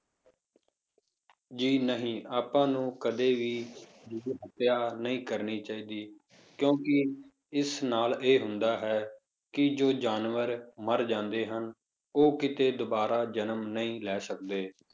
ਜੀ ਨਹੀਂ ਆਪਾਂ ਨੂੰ ਕਦੇ ਵੀ ਜੀਵ ਹੱਤਿਆ ਨਹੀਂ ਕਰਨੀ ਚਾਹੀਦੀ, ਕਿਉਂਕਿ ਇਸ ਨਾਲ ਇਹ ਹੁੰਦਾ ਹੈ ਕਿ ਜੋ ਜਾਨਵਰ ਮਰ ਜਾਂਦੇ ਹਨ, ਉਹ ਕਿਤੇ ਦੁਬਾਰਾ ਜਨਮ ਨਹੀਂ ਲੈ ਸਕਦੇ।